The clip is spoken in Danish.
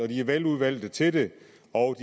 de er velvalgte til det og